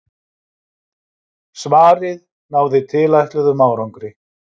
Svarið náði tilætluðum árangri.